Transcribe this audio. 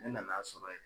Ne nan'a sɔrɔ yen